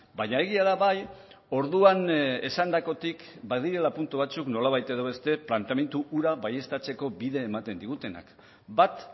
baina egia da bai orduan esandakotik badirela puntu batzuk nolabait edo beste planteamendu hura baieztatzeko bide ematen digutenak bat